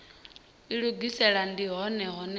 ilugisela ndi hone hune ha